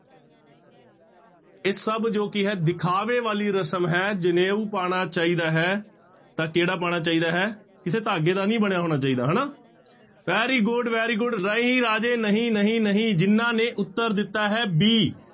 ਇਹ ਸਭ ਜੋ ਕੀ ਹੈ ਦਿਖਾਵੇ ਵਾਲੀ ਰਸ਼ਮ ਹੈ ਜਨੇਊ ਪਾਉਣਾ ਚਾਹੀਦਾ ਹੈ ਤਾਂ ਕਿਹੜਾ ਪਾਉਣਾ ਚਾਹੀਦਾ ਹੈ, ਕਿਸੇ ਧਾਗੇ ਦਾ ਨੀ ਬਣਿਆ ਹੋਣਾ ਚਾਹੀਦਾ ਹਨਾ very good, very good ਨਹੀਂ ਰਾਜੇ ਨਹੀਂ ਨਹੀਂ ਨਹੀਂ ਜਿਹਨਾਂ ਨੇ ਉੱਤਰ ਦਿੱਤਾ ਹੈ b